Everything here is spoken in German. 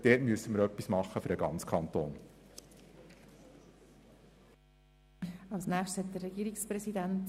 Wir müssen hier für den ganzen Kanton etwas tun.